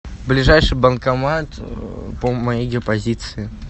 ближайший банкомат по моей геопозиции